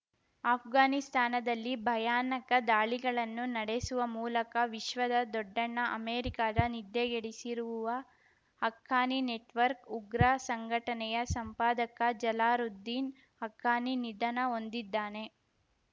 ಅಫ್ಘಾನಿಸ್ತಾನದಲ್ಲಿ ಭಯಾನಕ ದಾಳಿಗಳನ್ನು ನಡೆಸುವ ಮೂಲಕ ವಿಶ್ವದ ದೊಡ್ಡಣ್ಣ ಅಮೆರಿಕದ ನಿದ್ರೆಗೆಡಿಸಿರುವ ಹಕ್ಕಾನಿ ನೆಟ್‌ವರ್ಕ್ ಉಗ್ರ ಸಂಘಟನೆಯ ಸಂಪಾದಕ ಜಲಾಲುದ್ದೀನ್‌ ಹಕ್ಕಾನಿ ನಿಧನ ಹೊಂದಿದ್ದಾನೆ